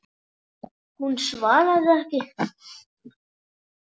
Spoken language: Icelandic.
Hún svaraði ekki.